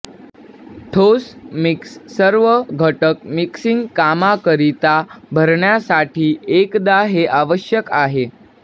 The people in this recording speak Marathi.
ठोस मिक्स सर्व घटक मिक्सिंग कामाकरिता भरण्यासाठी एकदा हे आवश्यक नाही